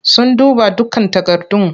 Sun duba dukkan takardun.